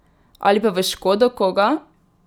Ali pa v škodo koga?